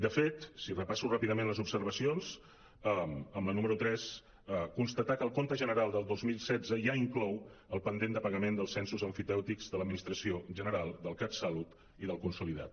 de fet si repasso ràpidament les observacions amb la número tres constatar que el compte general del dos mil setze ja inclou el pendent de pagament dels censos emfitèutics de l’administració general del catsalut i del consolidat